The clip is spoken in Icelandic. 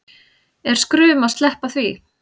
Er skrum að sleppa því